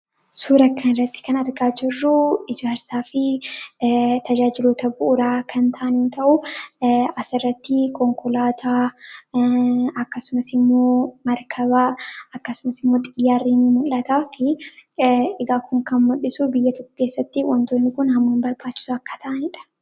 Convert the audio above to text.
Suura kan irratti kan argaa jirruu ijaarsaa fi tajaajiloota bu'uraa kan ta'ani yoo ta'u. As irratti konkolaataa akkasuma immoo markabaa akkasuma immoo moo xiyyaarrii ni mul'ataa fi egaa kun kan muldhisu biyya tokko keessatti wantoonni kun haamam barbaachisoo akka ta'aniidha.